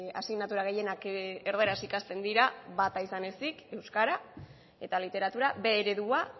asignatura gehienak erdaraz ikasten dira bata izan ezin euskara eta literatura b eredua